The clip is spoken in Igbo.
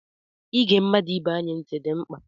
Ịge mmadụ ibe anyị ntị dị mkpa.